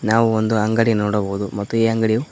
ನಾವು ಒಂದು ಅಂಗಡಿ ನೋಡಬಹುದು ಮತ್ತು ಈ ಅಂಗಡಿ--